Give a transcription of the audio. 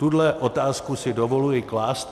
Tuto otázku si dovoluji klást.